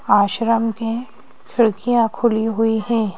आश्रम की खिड़कियां खुली हुई हैं।